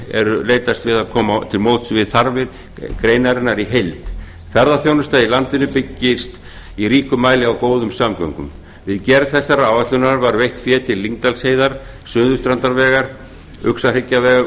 er leitast til að koma til móts við þarfir greinarinnar í held ferðaþjónusta í landinu byggir í ríkum mæli á góðum samgöngum við gerð þessarar áætlunar var veitt fé til lyngdalsheiðar suðurstrandarvegar uxahryggjarvegar